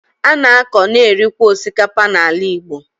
A na-akọ, na-erikwa osikapa n’ala Igbo